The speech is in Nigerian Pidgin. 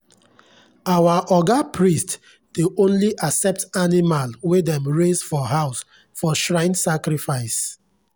our oga priest dey only accept animal wey dem raise for house for shrine sacrifice.